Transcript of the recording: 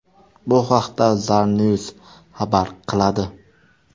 Bu haqda Zarnews xabar qiladi.